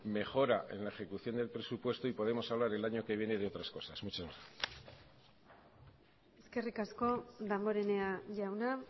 mejora en la ejecución del presupuesto y podemos hablar el año que viene de otras cosas muchas gracias eskerrik asko damborenea jauna